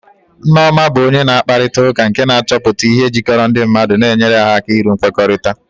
Nneoma bụ onye na-akparịta ụka nke na-achọpụta ihe jikọrọ ndị mmadụ na-enyere ha aka iru nkwekọrịta.